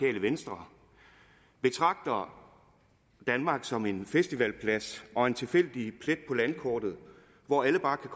venstre betragter danmark som en festivalplads og en tilfældig plet på landkortet hvor alle bare kan